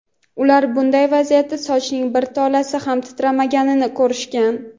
ular bunday vaziyatda sochimning bir tolasi ham titrmaganini ko‘rishgan.